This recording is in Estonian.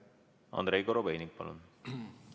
Andrei Korobeinik, palun!